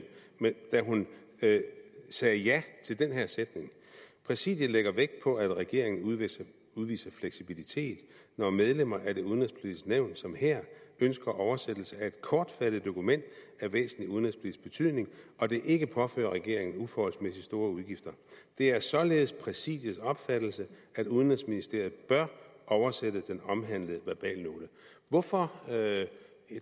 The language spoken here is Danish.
da hun sagde ja til den her sætning præsidiet lægger dog vægt på at regeringen udviser udviser fleksibilitet når medlemmer af det udenrigspolitiske nævn som her ønsker oversættelse af kortfattet dokument af en væsentlig udenrigspolitisk betydning og det ikke påfører regeringen uforholdsmæssigt store udgifter det er således præsidiets opfattelse at udenrigsministeriet bør oversætte den omhandlede verbalnote hvorfor